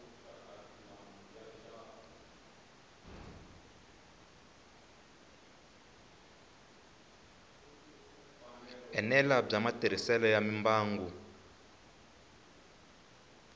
enela bya matirhiselo ya mimbangu